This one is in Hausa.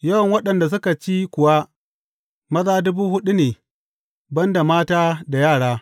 Yawan waɗanda suka ci kuwa, maza dubu huɗu ne, ban da mata da yara.